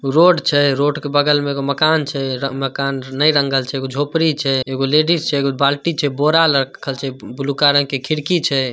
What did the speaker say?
Road छे। Road के बगल में एगो मकान छे। मकान नै रंगल छे। एगो झोपड़ी छे। एगो लेडिज छे एगो बाल्टी छे बोरा रखल छे बबुलुका रंग के खिड़की छे।